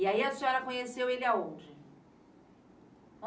E aí a senhora conheceu ele aonde?